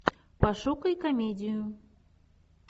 пошукай комедию